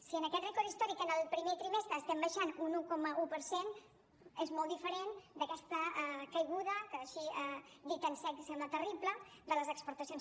si en aquest rècord històric en el primer trimestre estem baixat un un coma un per cent és molt diferent d’aquesta caiguda que així dita en sec sembla terrible de les exportacions